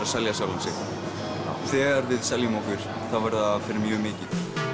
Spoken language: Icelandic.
að selja sjálfan sig þegar við seljum okkur verður það fyrir mjög mikið